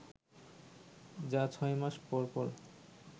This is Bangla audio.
যা ছয় মাস পরপর